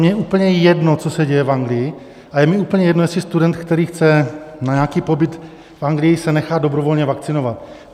Mně je úplně jedno, co se děje v Anglii, a je mně úplně jedno, jestli student, který chce na nějaký pobyt v Anglii, se nechá dobrovolně vakcinovat.